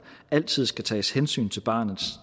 altid skal tages hensyn til barnets